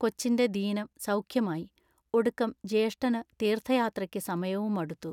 കൊച്ചിന്റെ ദീനം സൗഖ്യമായി. ഒടുക്കം ജ്യേഷ്ഠനു തീർത്ഥയാത്രയ്ക്ക് സമയവുമടുത്തു.